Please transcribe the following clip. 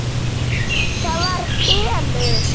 ÞAÐ VAR SELUR!